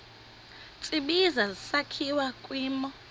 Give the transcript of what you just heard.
tsibizi sakhiwa kwimo